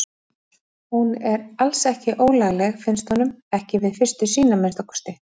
Hún er alls ekki ólagleg, finnst honum, ekki við fyrstu sýn að minnsta kosti.